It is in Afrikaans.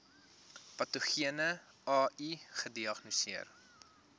patogene ai gediagnoseer